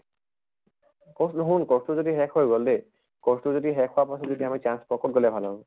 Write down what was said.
course টো হʼল course টো যদি শেষ হৈ গʼল দে । course টো যদি শেষ হোৱাৰ পাছত যদি আকৌ chance পোৱা কʼত গলে ভাল হʼব?